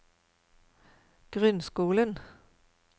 grunnskolen